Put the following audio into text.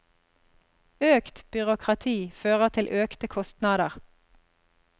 Økt byråkrati fører til økte kostnader.